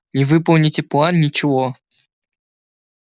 не выполните план ничего